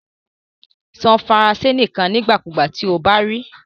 Sọ Faranse nikan nigbakugba ti o ba ri i